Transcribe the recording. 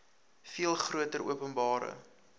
veel groter openbare